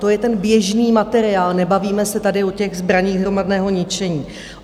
To je ten běžný materiál, nebavíme se tady o těch zbraních hromadného ničení.